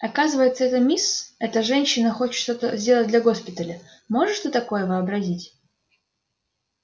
оказывается эта мисс эта женщина хочет что-то сделать для госпиталя можешь ты такое вообразить